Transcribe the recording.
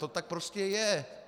To tak prostě je!